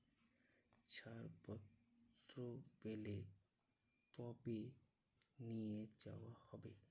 ছাড়পত্র পেলে তবে নিয়ে যাওয়া হবে।